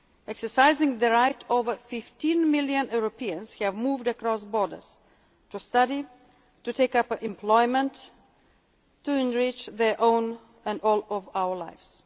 to work. Exercising this right, over 15 million Europeans have moved across borders to study, to take up employment, to enrich their own and all our